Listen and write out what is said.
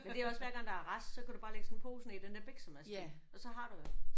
Men det er også hver gang der er rest så kan du bare ligge sådan en pose ned i den der biksemadsting og så har du jo